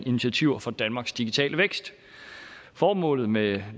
initiativer for danmarks digitale vækst formålet med